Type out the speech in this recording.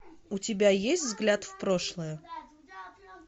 у тебя есть взгляд в прошлое